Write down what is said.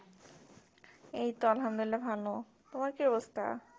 এই তো আলহামদুলিল্লাহ ভালো তোমার কি অবস্থা?